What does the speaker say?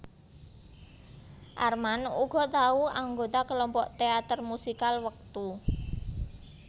Armand uga tau anggota kelompok teater musikal wektu